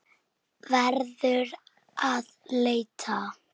Verðum að leita.